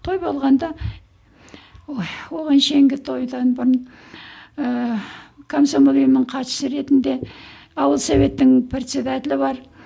той болғанда ой тойдан бұрын ыыы комсомол ұйымының хатшысы ретінде ауыл советтің председателі бар